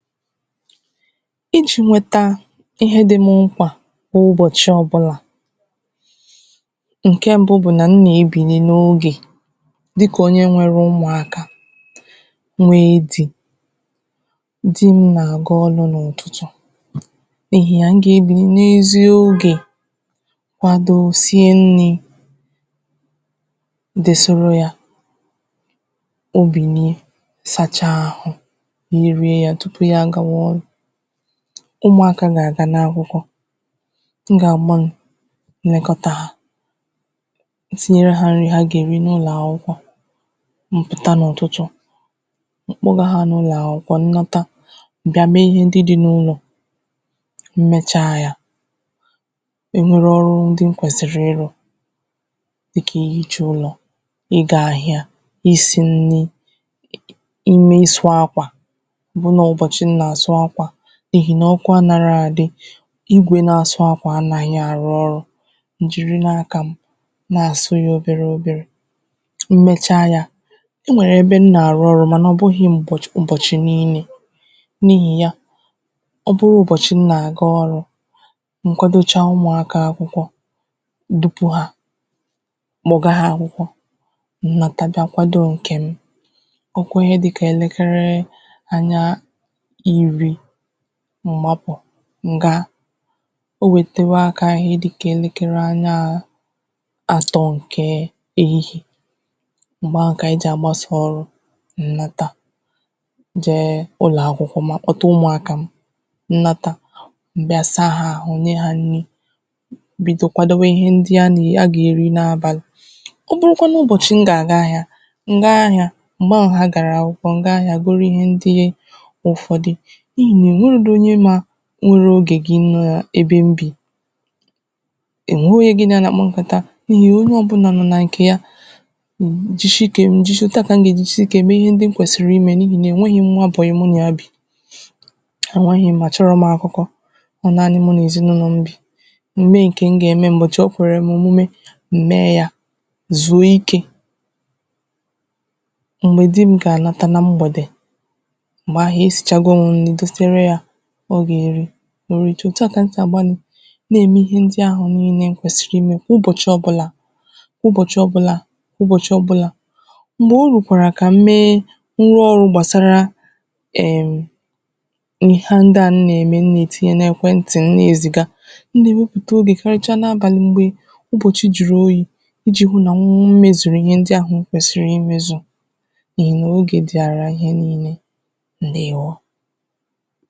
ijī nweta ihe dī m mkpà n’ụbọ̀chị ọ̀bụlà ǹke mbu bụ̀ nà m nà-ebìli n’ogè dịkà onye nwere umùakā nwee dī di m nà-àga ọlụ̄ n’ụ̀tụtụ̀ n’ihì ya m gà-ebìli n’esi ogè kwado sie nnī desere yā o bìnie sacha àhụ ya èrie yā tụpụ ya àgawa ọlụ̄ umùaka gà-àganụ akwụkwọ m gà-àgba m nekọtā ha tinyere hā nni ha gà-èri n’ụlọ̀ akwụkwọ m pụ̀ta n’ụ̀tụtụ̀ m̀ kpọga ha n’ụlọ̀ akwụkwọ n lọta m bịa mee ihe ndị di n’ụlọ̀ m mecha ya e were ọrụ ndị m kwèsìrì ịrụ̄ dịkà ihīcha ụlọ̀ ịgā ahịa isī nni imē ịsụ̄ akwà ọ bụ nà ọ ụ̀bọ̀chị m nà-àsụ akwà èhì ọkụ anārọ àdị ekwē na-asụ akwà anāghị àrụ ọrụ̄ m jìrinu akā m na-àsụ ya oberē oberē m mecha yā o nwèrè ebe m nà-àrụ ọrụ mànà ọ̀ bụghị̄ m̀bọ̀ ụ̀bọchị̀ niile n’ihì ya ọ bụrụ ụbọ̀chị m nà-àga ọrụ̄ m keadocha umùaka akwụkwọ m dupū ha kpọ̀ga hā akwụkwọ m nata bịa kwado ǹkè m ọ kụọ ihe dịkà elekere anya iri m gbapụ̀ m gaa o wètewa akā ihe dịkà anya atọ̄ ǹke èhihiè m̀gbè ahụ̀ kà ànyị jì àgbasā ọrụ̄ m nata jee ụlọ̀akwụkwọ maọ kpọta umùakā m m nata m bịa saa ha àhụ nye hā nni bido kwadowe ihe ndị a nà a gà-èri n’abàlị̀ ọ bụrụkwanụ ụbọ̀chị̀ m gà àga ahịā m gaa ahịā m̀gbè ahụ̀ ha gàrà akwụkwọ m gaa ahịā goro ihe ndị ụ̀fọdị n’ihì nà ò nwerōdi onye mā nru ogè gi n’ebe m bì ò nweghī onye gin à ya bà-àkpa nkàta n’ihì onye ọ̀bụlà nọ̀ nà ǹkè ya m jishi ike m jishi ike òtu a kà m gà-èjishi ike mee ihe ndị m kwèsìrì imē n’ihì nà e nweghī m nwa bòyi mụ na ya bì è nweghī m a chọrọ̄ m akụkọ ọ nanị̄ mu nà ezinàụlọ̀ m bì m mee ǹkè m gà-ème ụ̀bọchị̀ o kwèrè m òmume m mee yā zùo ikē m̀gbè di m gà-àlọta na mgbèdè m̀gbè ahụ̀ esīchago m nni dosere yā ọ gà-èri o ritu òtu a kà m sì àgbalị̀ na-ème ihe ndị ahụ̀ niilē m kwèsìrì imē ụbọ̀chị ọ̀bụlà ụbọ̀chị ọ̀bụlà ụbọ̀chị ọ̀bụlà ndị o rùkwàrà ka m mee m nwee ọrụ̄ gbàsara em ihe a ndị a m nà-ème m nà-ètinye n’ekwentì m na-ezìga m nà-èwepụ̀ta obì karịcha n’abàlị m̀gbè ụbọ̀chị jụ̀rụ̀ oyī ijī hụ nà m mezùrù ihe ndị ahụ̀ m kwèsìrì imēzù n’ihì nà ogè dị̀ara ihe niilē ǹdewo